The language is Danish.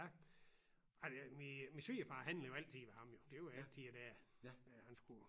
Ja ej det min svigerfar handler jo altid ved ham jo det jo altid dér øh han skulle